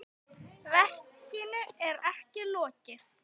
Verkinu er ekki lokið.